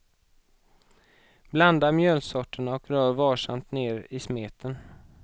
Blanda mjölsorterna och rör varsamt ner i smeten.